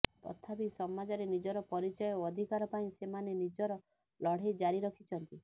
ତଥାପି ସମାଜରେ ନିଜର ପରିଚୟ ଓ ଅଧିକାର ପାଇଁ ସେମାନେ ନିଜର ଲଢେଇ ଜାରି ରଖିଛନ୍ତି